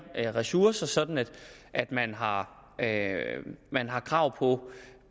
ressourcer sådan at at man har man har krav på